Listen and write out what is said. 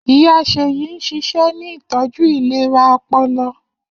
Iya Seyi n ṣiṣẹ ni itọju ilera ọpọlọ.